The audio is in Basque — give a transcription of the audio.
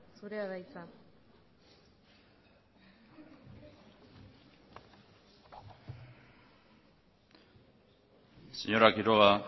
zurea da hitza señora quiroga